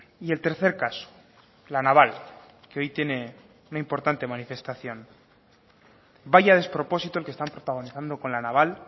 y el tercer caso la naval que hoy tiene una importante manifestación vaya despropósito el que están protagonizando con la naval